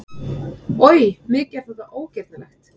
Oj, mikið er þetta ógirnilegt!